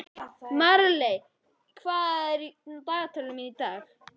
Marley, hvað er í dagatalinu mínu í dag?